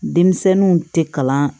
Denmisɛnninw tɛ kalan